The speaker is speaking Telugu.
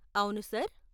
అవును, సార్.